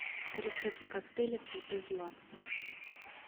рецепт коктейля цветы зла